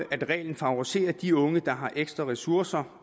reglen favoriserer de unge der har ekstra ressourcer